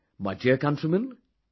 My dear countrymen,